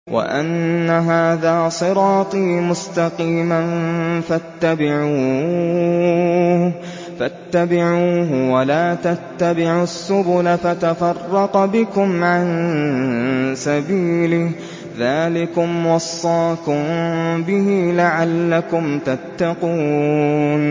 وَأَنَّ هَٰذَا صِرَاطِي مُسْتَقِيمًا فَاتَّبِعُوهُ ۖ وَلَا تَتَّبِعُوا السُّبُلَ فَتَفَرَّقَ بِكُمْ عَن سَبِيلِهِ ۚ ذَٰلِكُمْ وَصَّاكُم بِهِ لَعَلَّكُمْ تَتَّقُونَ